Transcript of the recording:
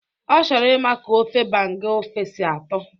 Ọ chọrọ ịma ka ofe banga ofe si atọ